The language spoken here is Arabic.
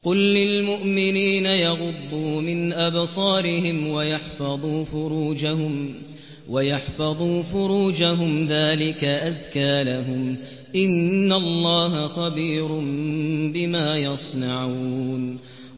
قُل لِّلْمُؤْمِنِينَ يَغُضُّوا مِنْ أَبْصَارِهِمْ وَيَحْفَظُوا فُرُوجَهُمْ ۚ ذَٰلِكَ أَزْكَىٰ لَهُمْ ۗ إِنَّ اللَّهَ خَبِيرٌ بِمَا يَصْنَعُونَ